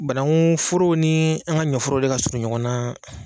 Banankun foro ni an ka ɲɔforo de ka surun ɲɔgɔn na.